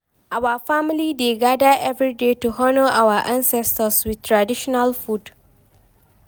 our family dey gather every year to honour our ancestors with traditional foods